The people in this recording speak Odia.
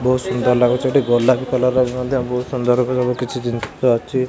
ବହୁତ ସୁନ୍ଦର ଲାଗୁଛି ଏଠି ଗୋଲାପି କଲର୍ ର ମଧ୍ୟ ବହୁତ୍ ସୁନ୍ଦର ଘର କିଛି ଜିନିଷ ଅଛି।